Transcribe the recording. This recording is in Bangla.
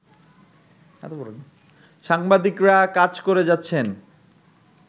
সাংবাদিকরা কাজ করে যাচ্ছেন